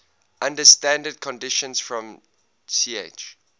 under standard conditions from ch